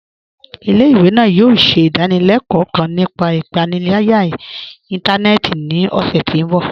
Ilẹ̀-ìwé náà yòò ṣẹ̀ idàníléló̩kò̩ kán nípà ìpànìlàyà ìntànẹ̀ẹ̀tì ní ọṣẹ̀ ti mbọ̀.